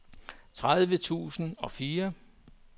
tredive tusind og fire